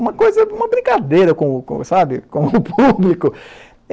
Uma coisa, uma brincadeira com, com sabe com o público.